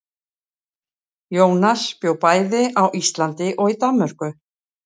Jónas bjó bæði á Íslandi og í Danmörku.